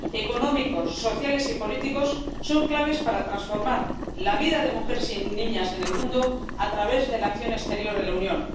económicos, sociales y políticos son claves para transformar la vida de mujeres y niñas en el mundo a través de la acción exterior de la Unión.